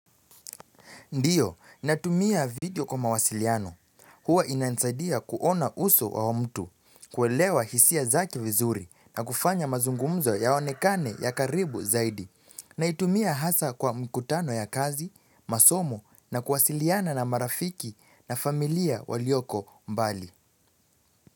Ndiyo, natumia video kwa mawasiliano. Huwa inanisadia kuona uso wa mtu, kuelewa hisia zake vizuri na kufanya mazungumzo yaonekane ya karibu zaidi. Naitumia hasa kwa mkutano ya kazi, masomo na kuwasiliana na marafiki na familia waliyoko mbali.